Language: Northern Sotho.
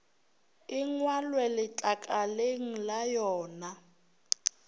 e ngwalwe letlakaleng la yona